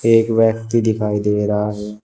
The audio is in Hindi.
एक व्यक्ति दिखाई दे रहा है।